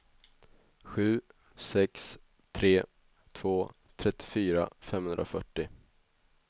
sju sex tre två trettiofyra femhundrafyrtio